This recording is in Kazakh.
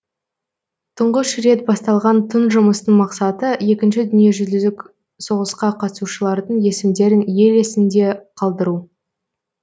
тұңғыш рет басталған тың жұмыстың мақсаты екінші дүниежүзілік соғысқа қатысушылардың есімдерін ел есінде қалдыру